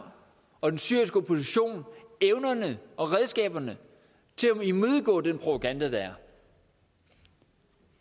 og den syriske opposition evnerne og redskaberne til at imødegå den propaganda der er